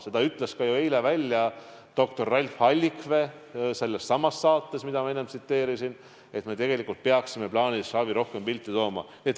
Seda ütles ju ka eile doktor Ralf Allikvee sellessamas saates, mida ma enne mainisin, et tegelikult me peaksime plaanilist ravi rohkem pilti tooma.